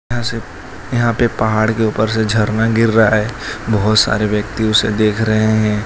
यहां से यहां पे पहाड़ के ऊपर से झरना गिर रहा है बहोत सारे व्यक्ति उसे देख रहे हैं।